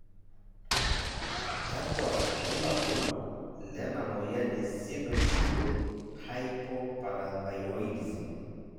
kakua irbulabol lena moyian e Pseudopseudohypoparathyroidism?